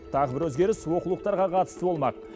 тағы бір өзгеріс оқулықтарға қатысты болмақ